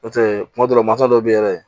N'o tɛ kuma dɔ la masa dɔ bɛ ye yɛrɛ